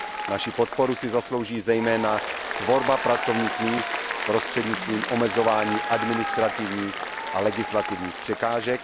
Naší podporu si zaslouží zejména tvorba pracovních míst prostřednictvím omezování administrativních a legislativních překážek.